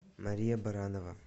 мария баранова